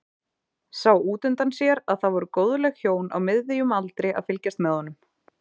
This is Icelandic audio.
Sá útundan sér að það voru góðleg hjón á miðjum aldri að fylgjast með honum.